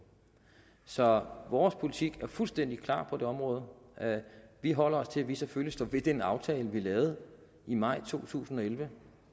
så vores politik er fuldstændig klar på det område vi holder os til at vi selvfølgelig står ved den aftale vi lavede i maj to tusind og elleve